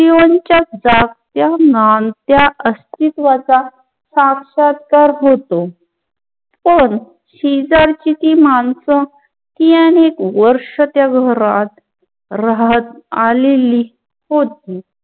अस्तित्वाचा साक्षात्कार होतो, पण शीतलची ती मानसंच तीअनेक वर्ष त्या घरात राहत आलेली होती